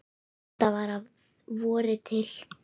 Þetta var að vori til.